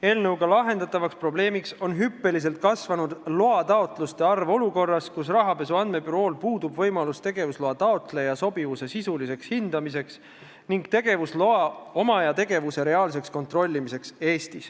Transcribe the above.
Eelnõuga lahendatav probleem on hüppeliselt kasvanud loataotluste arv olukorras, kus rahapesu andmebürool puudub võimalus tegevusloa taotleja sobivust sisuliselt hinnata ning tegevusloa omaja tegevust Eestis reaalselt kontrollida.